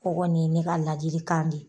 Ɔ kɔni ye ne ka ladili kan de.